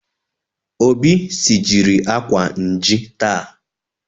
Obi sijiri akwa nji taa